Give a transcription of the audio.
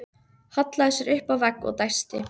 Hallaði sér upp að vegg og dæsti.